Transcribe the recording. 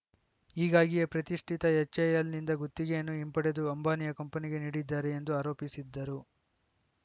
ಹೀಗಾಗಿಯೇ ಪ್ರತಿಷ್ಠಿತ ಎಚ್‌ಎಎಲ್‌ನಿಂದ ಗುತ್ತಿಗೆಯನ್ನು ಹಿಂಪಡೆದು ಅಂಬಾನಿಯ ಕಂಪನಿಗೆ ನೀಡಿದ್ದಾರೆ ಎಂದು ಆರೋಪಿಸಿದ್ದರು